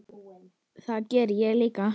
Það geri ég líka.